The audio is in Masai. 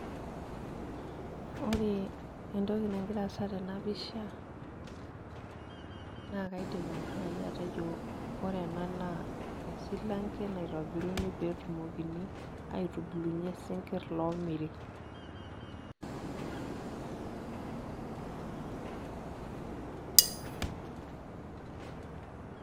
Ore entoki nagira aasa tenapisha nakaidim na atejo ore ena naa esilanke naitobiruni peetumokini aitubulunye sinkir omiri